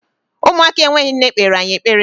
Ụmụaka enweghị nne kpere anyị ekpere.